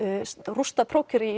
rústað prófkjöri í